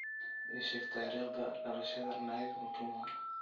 ii sheeg taariikhda dhalashada nick mutuma